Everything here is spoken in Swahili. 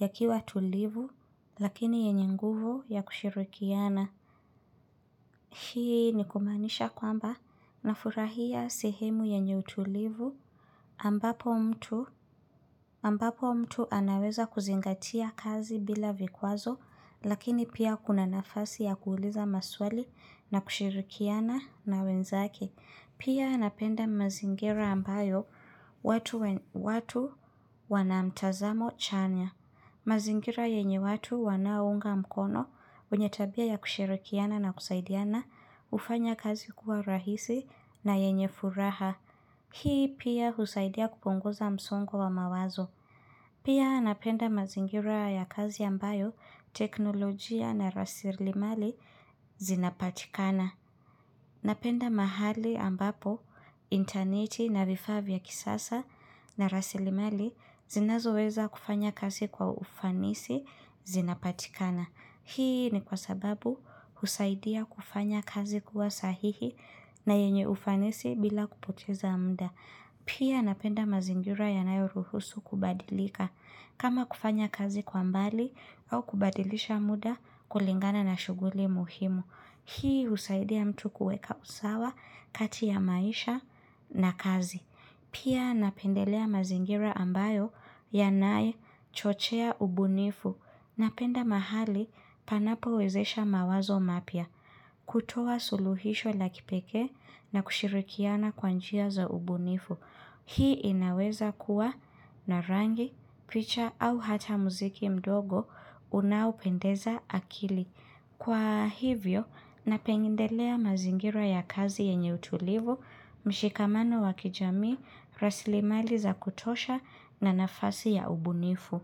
ya kiwa tulivu lakini yenye nguvu ya kushirikiana. Hii ni kumaanisha kwamba nafurahia sehemu yenye utulivu ambapo mtu. Ambapo mtu anaweza kuzingatia kazi bila vikwazo lakini pia kuna nafasi ya kuuliza maswali na kushirikiana na wenzake. Pia napenda mazingira ambayo watu wanamtazamo chanya. Mazingira yenye watu wanaounga mkono wenyetabia ya kushirikiana na kusaidiana ufanya kazi kuwa rahisi na yenye furaha. Hii pia husaidia kupunguza msongo wa mawazo. Pia napenda mazingira ya kazi ambayo teknolojia na rasili mali zinapatikana. Napenda mahali ambapo, interneti na vifaa vya kisasa na rasilimali zinazo weza kufanya kazi kwa ufanisi zinapatikana. Hii ni kwa sababu husaidia kufanya kazi kuwa sahihi na yenye ufanisi bila kupoteza mda. Pia napenda mazingira yanayo ruhusu kubadilika. Kama kufanya kazi kwa mbali au kubadilisha muda kulingana na shuguli muhimu. Hii usaidia mtu kueka usawa kati ya maisha na kazi. Pia napendelea mazingira ambayo ya nae chochea ubunifu. Napenda mahali panapo wezesha mawazo mapya. Kutoa suluhisho la kipekee na kushirikiana kwa njia za ubunifu. Hii inaweza kuwa na rangi, picha au hata muziki mdogo unaupendeza akili. Kwa hivyo, napendelea mazingira ya kazi yenye utulivu, mshikamano wakijamii, rasilimali za kutosha na nafasi ya ubunifu.